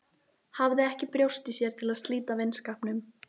Hafði ekki brjóst í sér til að slíta vinskapnum.